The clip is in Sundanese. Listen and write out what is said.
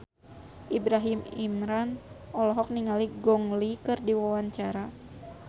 Ibrahim Imran olohok ningali Gong Li keur diwawancara